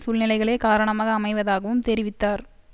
சூழ்நிலைகளே காரணமாக அமைவதாகவும் தெரிவித்தார்